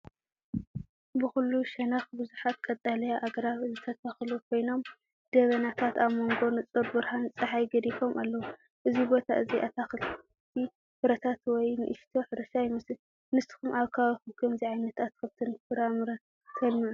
ብኹሉ ሸነኽ ብዙሓት ቀጠልያ ኣግራብ ዝተተኽሉ ኮይኖም፡ ደበናታት ኣብ መንጎ ንጹር ብርሃን ጸሓይ ገዲፎም ኣለዉ። እዚ ቦታ እዚ ኣታኽልቲ ፍረታት ወይ ንእሽቶ ሕርሻ ይመስል። ንስኩም ኣብ ከባቢኩም ከምዚ ዓይነት ኣትክልትን ፍራምረን ተልምዑ ዶ?